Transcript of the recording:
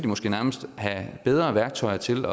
måske nærmest have bedre værktøjer til